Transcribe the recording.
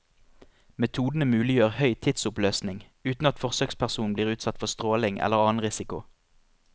Metodene muliggjør høy tidsoppløsning, uten at forsøkspersonen blir utsatt for stråling eller annen risiko.